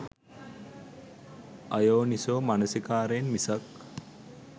අයෝනිසෝ මනසිකාරයෙන් මිසක්